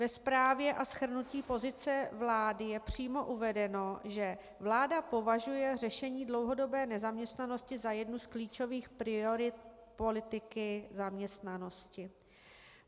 Ve zprávě a shrnutí pozice vlády je přímo uvedeno, že vláda považuje řešení dlouhodobé nezaměstnanosti za jednu z klíčových priorit politiky zaměstnanosti.